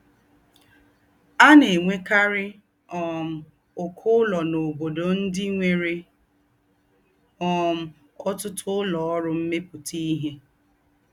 À nà-ènwékárí um úkọ́ úlọ́ n’óbódò ndí́ nwere um otutu ulo oru meputa ihe